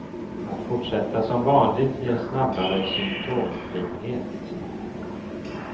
Att fortsätta som vanligt ger snabbare symtomfrihet.